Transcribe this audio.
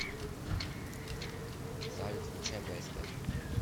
салют включай бст